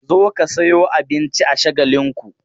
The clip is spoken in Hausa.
Zo ka sayo abinci a Shagalinku!